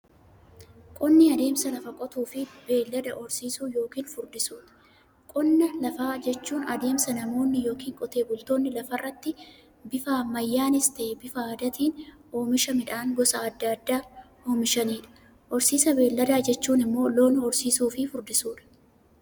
Qonni adeemsa lafa qotuufi beeylada horsiisuu yookiin furdisuuti. Qonna lafaa jechuun adeemsa namoonni yookiin Qotee bultoonni lafarraatti bifa ammayyanis ta'ee, bifa aadaatiin oomisha midhaan gosa adda addaa oomishaniidha. Horsiisa beeyladaa jechuun immoo loon horsiisuufi furdisuudha.